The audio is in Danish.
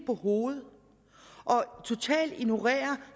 på hovedet og totalt ignorerer